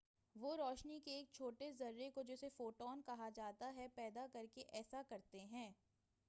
وہ روشنی کے ایک چھوٹے ذرے کو جسے"فوٹون کہا جاتا ہے، پیدا کر کے ایسا کرتے ہیں۔